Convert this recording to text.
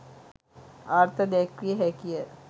අර්ථ දැක්විය හැකි ය.